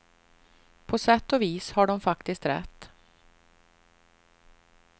På sätt och vis har de faktiskt rätt.